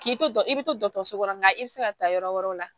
K'i to dɔ i bɛ to dɔgɔtɔrɔso kɔrɔ nka i bɛ se ka taa yɔrɔ wɛrɛw la